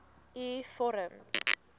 u vorm